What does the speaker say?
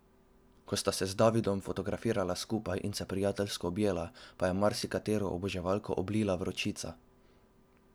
Ko sta se z Davidom fotografirala skupaj in se prijateljsko objela, pa je marsikatero oboževalko oblila vročica.